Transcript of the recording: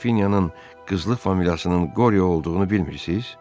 Qrafinyanın qızlı familiyasının Qorio olduğunu bilmirsiz?